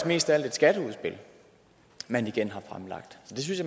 mest af alt et skatteudspil man igen har fremlagt så det synes